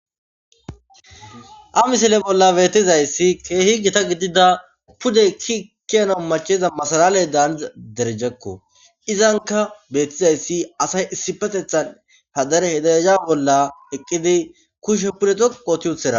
Ha missile bola betizayisi kehi gita g idida pude ki kiyanawu machayiza masalale daniza derejakko izanika betizayisi asay issippetetan hahe dereja bola eqidi kushe pude dhoqu otiyutira.